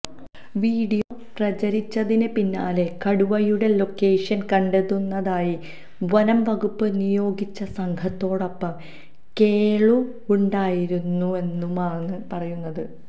video പ്രചരിച്ചതിന് പിന്നാലെ കടുവയുടെ ലൊക്കേഷന് കണ്ടെത്തുന്നതിനായി വനംവകുപ്പ് നിയോഗിച്ച സംഘത്തോടൊപ്പം കേളുവുണ്ടായിരുന്നുവെന്നുമാണ് പറയുന്നത്